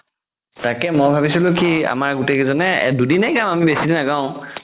তাকেই মই ভাবিছিলো কি আমাৰ গোতেই কিজনে দুদিনে গাম বেচিদিন নাগাও